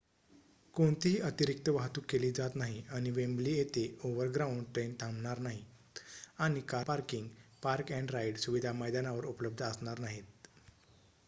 कोणतीही अतिरिक्त वाहतूक केली जात नाही आणि वेम्बली येथे ओव्हरग्राउंड ट्रेन थांबणार नाहीत आणि कार पार्किंग पार्क-अँड राइड सुविधा मैदानावर उपलब्ध असणार नाहीत